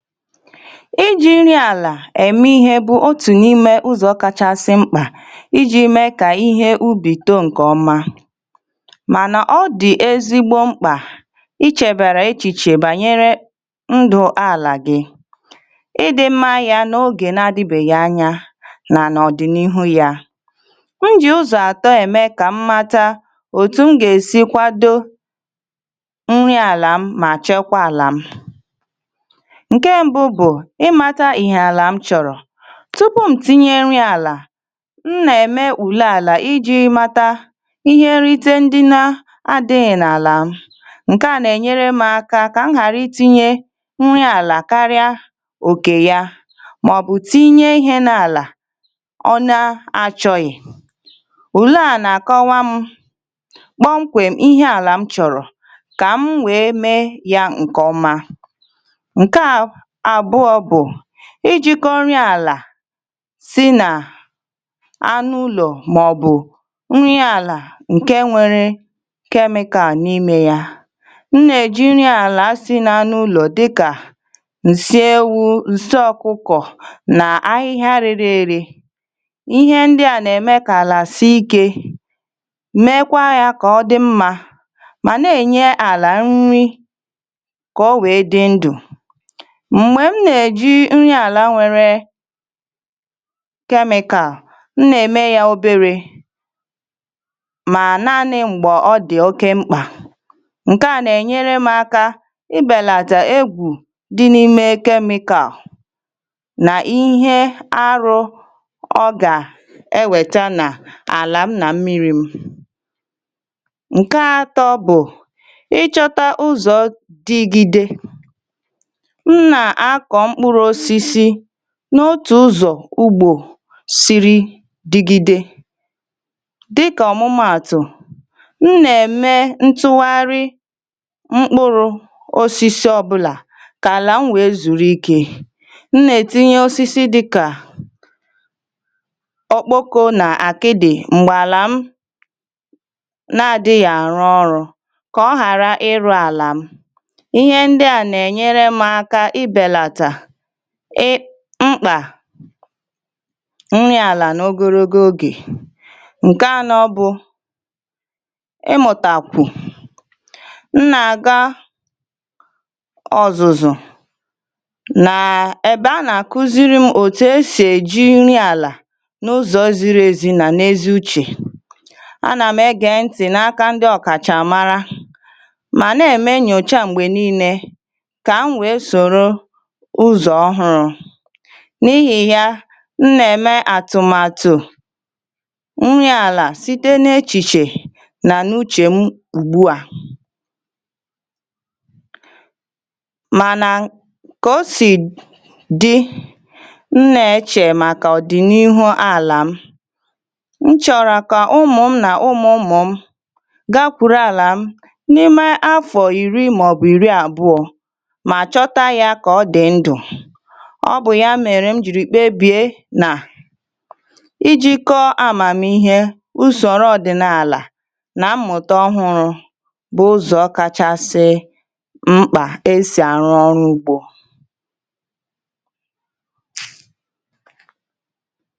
Iji̇ nri àlà èmihė bụ̀ otù n’ime ụzọ̇ kachasị mkpà iji̇ mee kà ihe ubì too ǹkè ọma. Mànà ọ dị̀ ezigbo mkpà ichėbèrè echìchè bànyere ndụ̀ àlà gị, ịdị̇ mmȧ ya nà ogè nà-adịbèghị anya nà n’ọ̀dị̀nihu ya. M jì ụzọ̀ àtọ ème kà m mata òtù m gà-èsi kwado nri àlà m mà chekwaa àlà m. Nke ṁbụ̇ bụ̀ ị matȧ ihe àlà m chọ̀rọ̀. tmTupu ṁ tinye nri àlà, m nà-ème ùle àlà iji̇ mata ihe nrịte ndị na adị̇ghị̇ n’àlà m. Nke à nà-ènyere m aka kà m ghàra itinye nri àlà karịa òkè ya màọ̀bụ̀ tinye ihe n’àlà ọ na-achọghị̀. Ule à nà-àkọwa m kpọmkwèm ihe àlà m chọ̀rọ̀ kà m wee mee ya ǹkè ọma. Nka abụọ bụ ijìkọ̇ nri àlà si nà anụ ulo màọ̀bụ̀ nri àlà ǹke nwėrė kemikà n’imė ya. M nà-ejìnye nri àlà si n’anụ ụlọ̀ dịkà ǹsị ewu̇, ǹsị ọ̀kụkọ̀ nà ahịhịa rere ere. Ihe ndị à nà-ème kà àlà si ikė meekwa yȧ kà ọ dị mmȧ mà na-ènye àlà nri kà o wèe dị ndụ̀. Mgbe m na-eji nri ala nwere kemịkal, m nà-ème ya obere mọ naanị m̀gbè ọ dị̀ oke mkpà. Nkeà nà-ènyere m aka ibèlàtà egwù dị n’ime kemikàlụ̀ nà ihe arụ ọ gà-ewèta nà àlà m nà mmiri̇ m. Nke atọ bụ̀ ịchọta ụzọ̀ dịgide, m na-akọ mkpụrụ̇osisi n’otù ụzo ugbò siri dịgide dịkà ọ̀mụmaatụ̀ m nà-ème ntụgharị mkpụrụ osisi ọbụlà kà àlà m wee zùrù ikė, m nà-ètinye osisi dịkà ọkpoko nà àkịdị̀ m̀gbàlà m na-adịghị̀ àrụ ọrụ̇ kà ọ ghàra ịrụ̇ àlà m. Ihe ndị a na-enyere m aka ibèlà ị kpà nri àlà nà ogologo ogè. Nkẹ̀ à nà ọ bụ ị mụ̀tàkwù, m nà àga ọ̀zụ̀zụ̀ nàà èbe anà kụziri m òtù e sì èji nri àlà n’ụzọ̀ e ziri ezi nà n’ezi uchè. A nà m ẹ gẹ ntị̀ n’aka ndi ọ̀kàchàmara mà nà-eme nyòcha m̀gbè niilė kà m wee sòrò ụzọ ọhụrụ. N’ihì ya, m nà-ème àtụmatụ nri àlà site na-echìchè nà n’uchè m ùgbuà. Mànà kà o sì dị, m nà-echè màkà ọ̀dị̀nihu̇ àlà m. M chọ̀rọ̀ kà ụmụ̀m nà ụmụ̀mụ̀ m gakwuru àlà m n’ime afọ̀ ìri màọbụ̀ ìri àbụọ̇ ma chọta ya mgbe ọ dị ndụ. Ọ bụ ya mere m ji kpebie nà iji̇kọ amàmihe usòrò ọ̀dị̀nààlà nà mmụ̀ta ọhụrụ̇ bụ̀ ụzọ̀ kachasị mkpà esì arụ̇ ọrụ ugbȯ.